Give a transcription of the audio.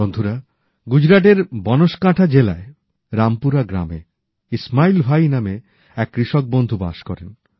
বন্ধুরা গুজরাতের বনসকান্থা জেলার রামপুরা গ্রামে ইসমাইল ভাই নামে এক কৃষকবন্ধু বাস করেন